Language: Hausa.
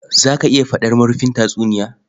Za ka iya faɗar marufin tatsuniya?